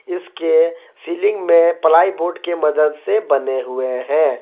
इसके सीलिंग में ply board के मदद से बने हुए हैं।